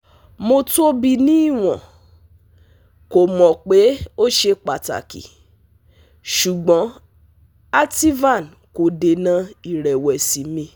Mo tobi ni iwọn… ko mọ pe o ṣe pataki, ṣugbọn ativan ko dena irewesi mi